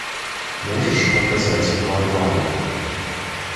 можешь показать варвары